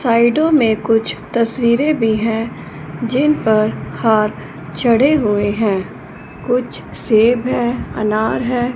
साइडो में कुछ तस्वीरें भी है जिन पर हाथ चढ़े हुए है कुछ सेब है अनार है।